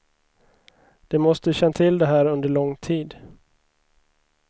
De måste känt till det här under lång tid.